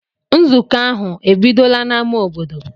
Nzukọ ahụ ebidola n'ámá obodo?